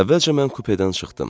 Əvvəlcə mən kupedən çıxdım.